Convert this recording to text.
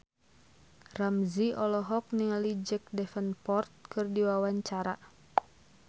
Ramzy olohok ningali Jack Davenport keur diwawancara